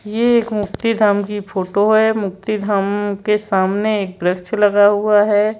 ये एक मुक्ति धाम की फोटो है मुक्ति धाम के सामने एक वृक्ष लगा हुआ है।